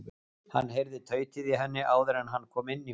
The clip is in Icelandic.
Hann heyrði tautið í henni áður en hann kom inn í húsið.